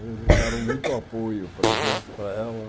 Eles deram muito apoio para a gente, para ela.